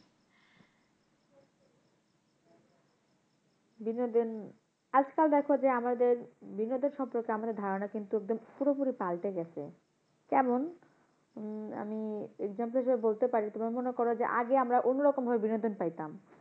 বিনোদন, আজকাল দেখো যে আমাদের বিনোদন সম্পর্কে আমাদের ধারনা কিন্তু একদম পুরোপুরি পাল্টে গেছে। কেমন? উম আমি example হিসাবে বলতে পারি তোমার মনে করো যে আগে আমরা অন্য রকম ভাবে বিনোদন পাইতাম,